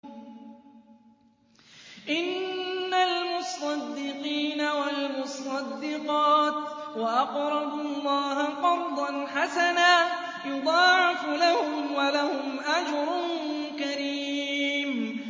إِنَّ الْمُصَّدِّقِينَ وَالْمُصَّدِّقَاتِ وَأَقْرَضُوا اللَّهَ قَرْضًا حَسَنًا يُضَاعَفُ لَهُمْ وَلَهُمْ أَجْرٌ كَرِيمٌ